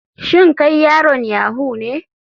Shin kai yaron yahoo ne.